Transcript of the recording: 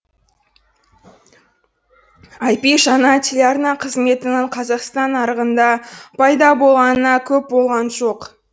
айпи жаңа телеарна қызметінің қазақстан нарығында пайда болғанына көп болған жоқ